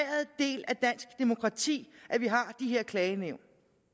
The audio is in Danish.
del af dansk demokrati at vi har de her klagenævn